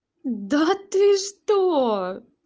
да ты что